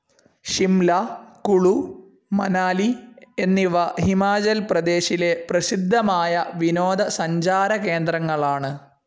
ഷിംല, കുളു, മനാലി എന്നിവ ഹിമാചൽ പ്രദേശിലെ പ്രസിദ്ധമായ വിനോദ സഞ്ചാരകേന്ദ്രങ്ങളാണ്.